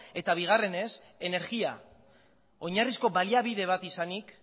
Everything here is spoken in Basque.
eta bigarrenez energia oinarrizko baliabide bat izanik